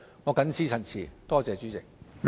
我謹此陳辭，多謝主席。